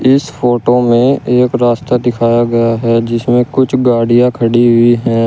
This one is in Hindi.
इस फोटो में एक रास्ता दिखाया गया है जिसमें कुछ गाड़ियां खड़ी हुई हैं।